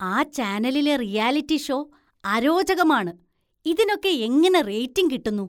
ആ ചാനലിലെ reality show അരോചകമാണ്, ഇതിനൊക്കെ എങ്ങനെ റേറ്റിങ് കിട്ടുന്നു?